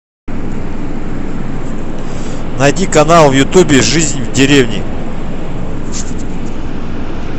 найди канал в ютубе жизнь в деревне